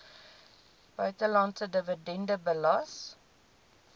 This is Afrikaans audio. buitelandse dividende belas